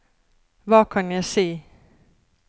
hva kan jeg si